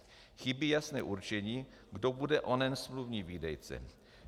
Chybí jasné určení, kdo bude onen smluvní výdejce.